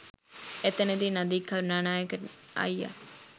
එතැනදී නදීක කරුණානායක අයියා